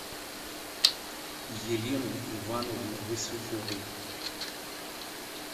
елены ивановны васюковой